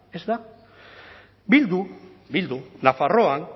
ez da bildu bildu nafarroan